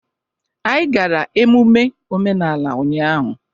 Anyị gara emume omenala ụnyahụ.